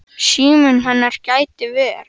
Síminn hennar gæti ver